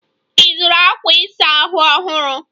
Ị zụrụ akwa ịsa ahụ ọhụrụ?